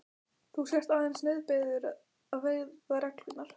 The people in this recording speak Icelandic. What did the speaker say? Þú sért aðeins nauðbeygður að virða reglurnar.